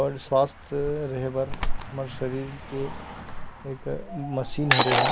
और स्वास्थ्य रहे बर हमर शरीर के एक मशीन हरे ए हा।